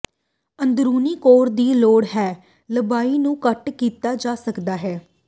ਅੰਦਰੂਨੀ ਕੋਰ ਦੀ ਲੋੜ ਹੈ ਲੰਬਾਈ ਨੂੰ ਕੱਟ ਕੀਤਾ ਜਾ ਸਕਦਾ ਹੈ